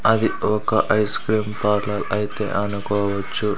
అది ఒక ice cream parlour అయితే అనుకోవచ్చు.